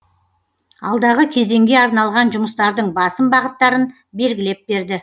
алдағы кезеңге арналған жұмыстардың басым бағыттарын белгілеп берді